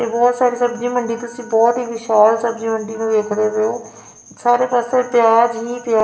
ਬਹੁਤ ਸਾਰੀ ਸਬਜੀ ਮੰਡੀ ਤੁਸੀਂ ਬਹੁਤ ਹੀ ਵਿਸ਼ਾਲ ਸਬਜੀ ਮੰਡੀ ਨੂੰ ਵੇਖਦੇ ਪਏ ਔ ਸਾਰੇ ਪਾਸੇ ਪਿਆਜ ਹੀ ਪਿਆਜ--